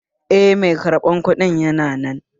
Eh, mai karɓan kuɗin yana nan